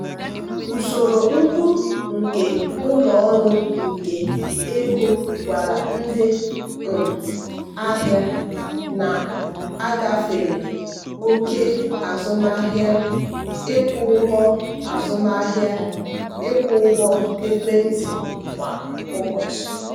usoro mkpu nke ụlọ ọrụ nke ego gwara ndị um ahịa na-agafere oke azụmahịa ịkwụ ụgwọ azụmahịa ịkwụ ụgwọ ekwentị kwa ụbọchị.